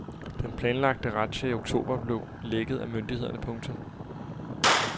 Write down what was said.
Den planlagte razzia i oktober blev lækket af myndighederne. punktum